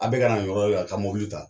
An bɛɛ kana nin yɔrɔ ya taa mobili ta